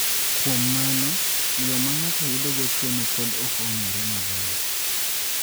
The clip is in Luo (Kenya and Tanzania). Kuom mano, yo ma ng�ato yudogo tuo no pod ok ong�ere maber.